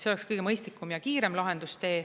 See oleks kõige mõistlikum ja kiirem lahendustee.